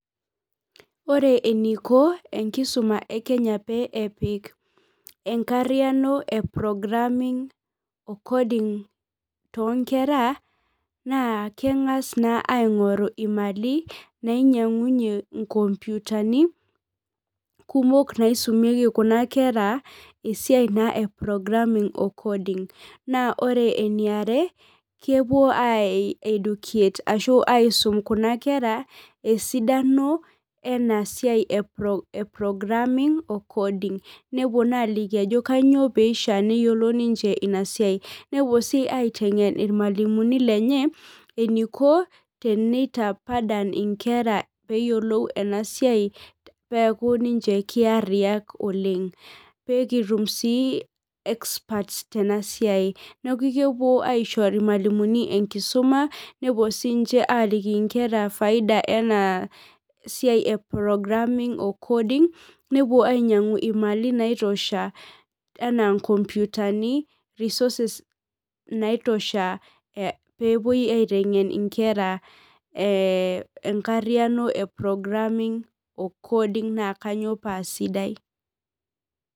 Ore eniko enkisuma ekenya pee epik enkariano e programming coding toonkera naa kengas naa aingoru imali nainyiangunyie inkomputani kumok naisumieki kuna kera esiai naa eprogramming ocoding naa ore eniara , kepuo aeducate ashu aisum kuna kera esidano ena siai eprogramming ocoding nepuo naaliki ajo kainyio pishiaa neyiolo niche ina siai nepuo si aitengen irmwalimuni lenye eniko tenitapadan inkera peyiolou enasiai peaku ninche kiariak oleng , peekitum sii experts tena siai . Neeku kepuo irmwalimuni enkisuma nepuo sinche aliki inkera faida ena siai eprogramming ocoding nepuo ainyiangu imali naaitosho anaa inkomputani resources naitosha peepuoi aitengen inkera ee enkariano eprogramming ocoding naa kainyio paa sidai .